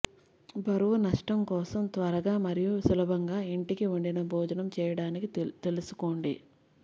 బరువు నష్టం కోసం త్వరగా మరియు సులభంగా ఇంటికి వండిన భోజనం చేయడానికి తెలుసుకోండి